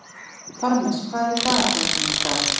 Parmes, hvað er í dagatalinu mínu í dag?